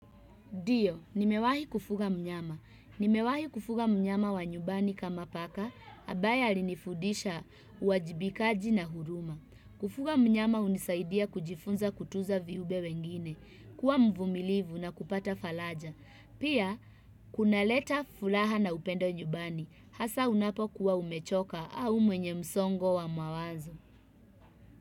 Ndio, nimewahi kufuga mnyama. Nimewahi kufuga mnyama wa nyubani kama paka, ambaye alinifudisha uajibikaji na huruma. Kufuga mnyama hunisaidia kujifunza kutunza viube wengine, kuwa mvumilivu na kupata falaja. Pia, kunaleta fulaha na upendo nyumbani, hasa unapokuwa umechoka au mwenye msongo wa mawazo.